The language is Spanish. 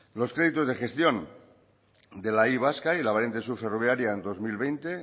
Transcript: los créditos de gestión de la y vasca y la variante sur ferroviaria en dos mil veinte